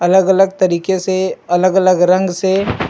अलग _अलग तरीके से अलग _अलग रंग से--